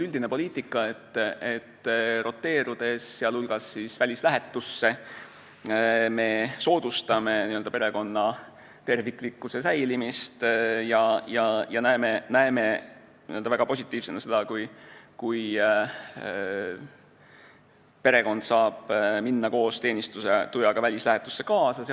Üldine poliitika on olnud selline, et roteerudes, sh välislähetusse, me soodustame perekonna terviklikkuse säilimist ja näeme väga positiivsena seda, kui perekond saab minna koos teenistujaga lähetusse kaasa.